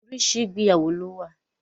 Oríṣiríṣi ìgbéyàwó lówà.